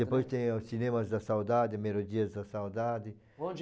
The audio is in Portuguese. Depois tem os cinemas da saudade, melodias da saudade. Onde